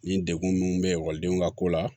Nin degun nunnu bɛ ekɔlidenw ka ko la